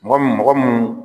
Mɔgɔ mun mɔgɔ mun